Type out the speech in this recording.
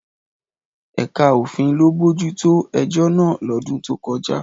Ẹ̀ka òfin ló bójú tó ẹjọ́ náà lọ́dún tó kọjá.